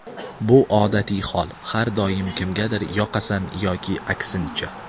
Bu odatiy hol, har doim kimgadir yoqasan yoki aksincha.